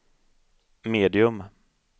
medium